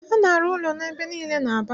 A na-arụ ụlọ ebe niile n'Aba